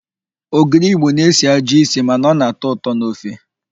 Ogiri Igbo na-esi ajọ ísì mana ọ na-atọ ụtọ n'ofe.